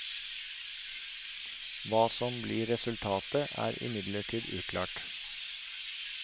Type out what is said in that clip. Hva som blir resultatet, er imidlertid uklart.